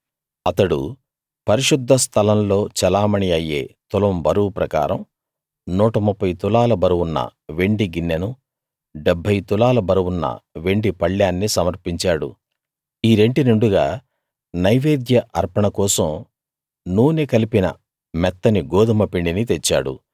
అతడు పరిశుద్ధ స్థలంలో చెలామణీ అయ్యే తులం బరువు ప్రకారం 130 తులాల బరువున్న వెండి గిన్నెనూ 70 తులాల బరువున్న వెండి పళ్ళేన్నీ సమర్పించాడు ఈ రెంటి నిండుగా నైవేద్య అర్పణ కోసం నూనె కలిపిన మెత్తని గోదుమ పిండిని తెచ్చాడు